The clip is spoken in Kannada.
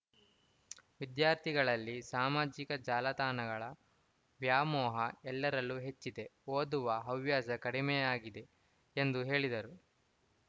ವಿದ್ಯಾರ್ಥಿಗಳಲ್ಲಿ ಸಾಮಾಜಿಕ ಜಾಲತಾಣಗಳ ವ್ಯಾಮೋಹ ಎಲ್ಲರಲ್ಲೂ ಹೆಚ್ಚಿದೆ ಓದುವ ಹವ್ಯಾಸ ಕಡಿಮೆಯಾಗಿದೆ ಎಂದು ಹೇಳಿದರು